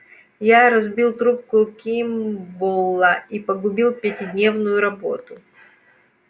я разбил трубку кимболла и погубил пятидневную работу